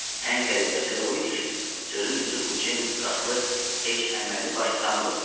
Ən qəribəsi də o idi ki, sözün düzü bu Ceyms Kaslı heç əməlli başlı tanımırdım da.